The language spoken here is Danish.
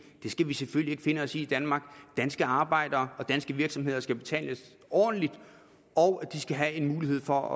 det skal vi selvfølgelig ikke finde os i i danmark danske arbejdere og danske virksomheder skal betales ordentligt og de skal have mulighed for